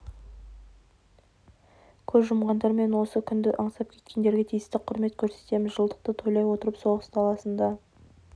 көз жұмғандар мен осы күнді аңсап кеткендерге тиісті құрмет көрсетеміз жылдықты тойлай отырып соғыс даласында